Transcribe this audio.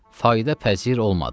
Fayda pəzir olmadı.